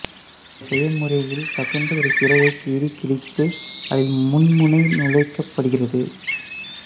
இந்த செய்முறையில் தகுந்த ஒரு சிரையை கீறி கிழித்து அதில் மின்முனை நுழைக்கப்படுகிறது